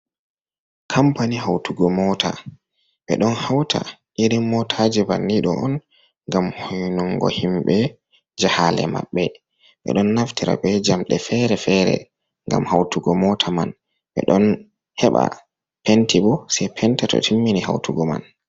Kampani hautugoo moota ɓe ɗon hauta irin mootajii bannidoo on gam, hoynunngo himɓe jahaalee maɓbe, ɓe don naftira be jamɗe fere-fere gam hautugo motaajii man, ɓe ɗon heɓa penti boo sei penta to timmini hautugoo man.